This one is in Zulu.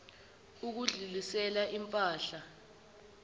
ukudlulisela im pahla